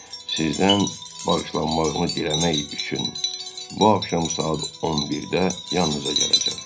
Sizdən bağışlanmağımı diləmək üçün bu axşam saat 11-də yanınıza gələcəm.